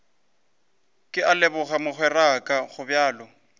ke a leboga mogweraka gobjalo